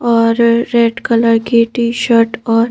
और red colour की T shirt और--